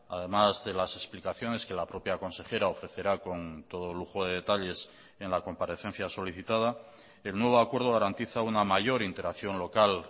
además de las explicaciones que la propia consejera ofrecerá con todo lujo de detalles en la comparecencia solicitada el nuevo acuerdo garantiza una mayor interacción local